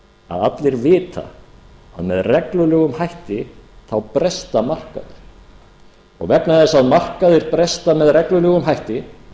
að allir vita að með reglulegum hætti bresta markaðir og vegna þess að markaðir bresta með reglulegum hætti